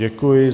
Děkuji.